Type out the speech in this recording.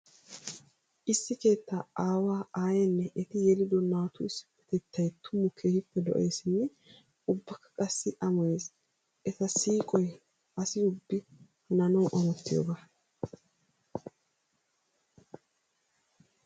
Issi keetta aawa, aayenne etti yeliddo naatu issippetettay tuma keehippe lo'eesinne ubbakka qassi amoyees. Etta siiqoy asi ubbi hananawu amottiyooga.